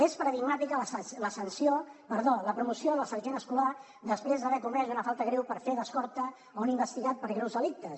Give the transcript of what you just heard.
és paradigmàtica la promoció del sergent escolà després d’haver comès una falta greu per fer d’escorta a un investigat per greus delictes